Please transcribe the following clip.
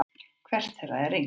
Hvert þeirra er yngst?